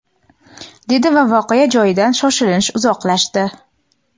dedi va voqea joyidan shoshilinch uzoqlashdi.